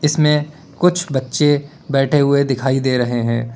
इसमें कुछ बच्चे बैठे हुए दिखाई दे रहे हैं।